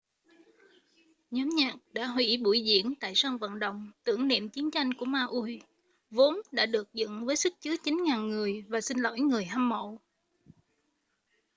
nhóm nhạc đã hủy buổi diễn tại sân vận động tưởng niệm chiến tranh của maui vốn đã được dựng với sức chứa 9.000 người và xin lỗi người hâm mộ